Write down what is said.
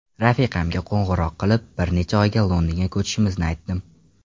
Rafiqamga qo‘ng‘iroq qilib, bir necha oyga Londonga ko‘chishimizni aytdim.